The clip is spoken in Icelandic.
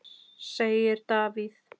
segir Davíð.